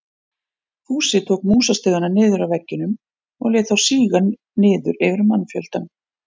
Fúsi tók músastigana niður af veggjunum og lét þá síga niður yfir mannfjöldann.